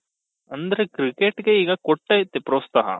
ಅಂದ್ರೆ cricket ಗೆ ಈಗ ಕೊಟ್ಟೈತಿ ಪ್ರೋತ್ಸಾಹ